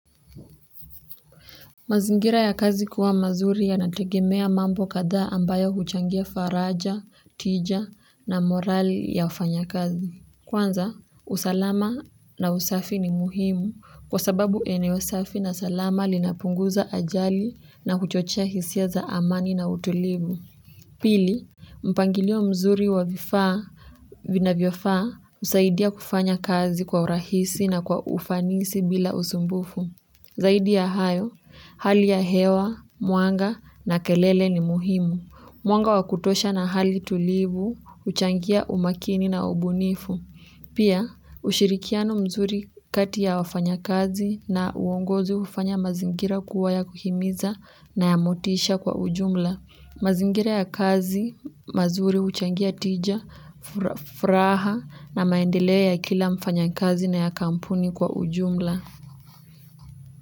Mazingira ya kazi kuwa mazuri yanategemea mambo kadhaa ambayo huchangia faraja, tija na morali ya wafanya kazi. Kwanza usalama na usafi ni muhimu kwa sababu eneo safi na salama linapunguza ajali na huchochea hisia za amani na utulivu pili, mpangilio mzuri wa vifaa vinafaa husaidia kufanya kazi kwa urahisi na kwa ufanisi bila usumbufu. Zaidi ya hayo, hali ya hewa, mwanga na kelele ni muhimu. Mwanga wa kutosha na hali tulivu huchangia umakini na ubunifu pia, ushirikiano mzuri kati ya wafanyakazi na uongozi hufanya mazingira kuwa ya kuhimiza na ya motisha kwa ujumla. Mazingira ya kazi, mazuri huchangia tija, furaha na maendeleo ya kila mfanyakazi na ya kampuni kwa ujumla.